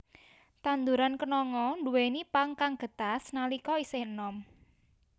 Tanduran kenanga nduwèni pang kang getas nalika isih enom